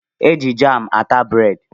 Eji jam ata breedi